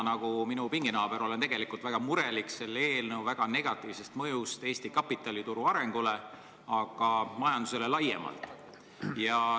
Nagu minu pinginaaber, olen ka mina tegelikult väga mures selle tulevase seaduse väga negatiivse mõju pärast Eesti kapitalituru arengule ja ka majandusele laiemalt.